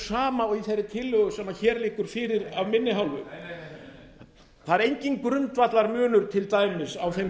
sama og í þeirri tillögu sem hér liggur fyrir af minni hálfu það er enginn grundvallarmunur til dæmis á þeim